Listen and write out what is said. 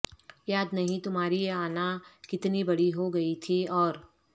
یاد نہیں تمہاری انا کتنی بڑی ہو گئی تھی اور